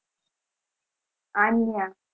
Anya